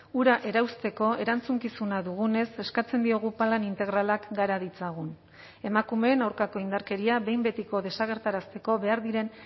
hura erauzteko erantzukizuna dugunez eskatzen diogu plan integralak gara ditzagun emakumeen aurkako indarkeria behin betiko desagerrarazteko behar diren